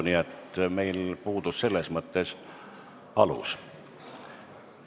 Nii et meil puudus selles mõttes siin alus.